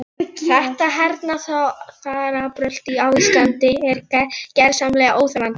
Þóreyjar ráðgjafa og júnísólin glampaði úti.